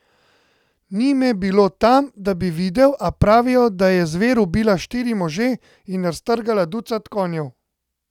Ni me bilo tam, da bi videl, a pravijo, da je zver ubila štiri može in raztrgala ducat konjev.